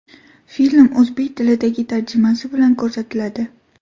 Film o‘zbek tilidagi tarjimasi bilan ko‘rsatiladi.